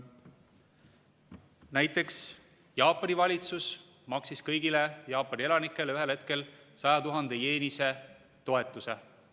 Näiteks Jaapani valitsus maksis kõigile Jaapani elanikele ühel hetkel 100 000‑jeenise toetuse.